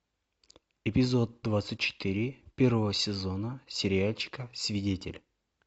эпизод двадцать четыре первого сезона сериальчика свидетель